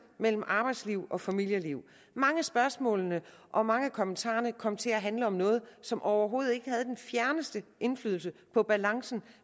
mellem arbejdsliv og familieliv mange af spørgsmålene og mange af kommentarerne kom til at handle om noget som overhovedet ikke havde den fjerneste indflydelse på balancen